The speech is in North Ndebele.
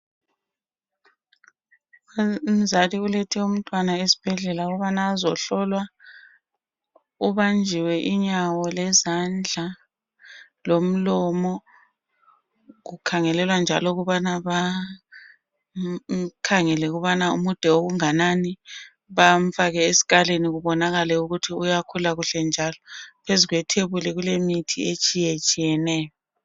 Umzali ulethe umntwana esibhedlela ukubana azohlolwa, ubanjiwe inyawo, lezandla lomlomo. Kukhangelelwa njalo ukubana bamkhangele ukubana mude okunganani, bamfake esikalini kubonakale ukuthi uyakhula kahle, njalo phezu kwethebuli kulemithi etshiyetshiyeneyo.